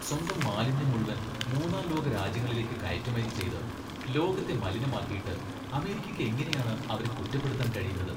സ്വന്തം മാലിന്യം മുഴുവൻ മൂന്നാം ലോക രാജ്യങ്ങളിലേക്ക് കയറ്റുമതി ചെയ്ത് ലോകത്തെ മലിനമാക്കിയിട്ട് അമേരിക്കയ്ക്ക് എങ്ങനെയാണ് അവരെ കുറ്റപ്പെടുത്താൻ കഴിയുന്നത് ?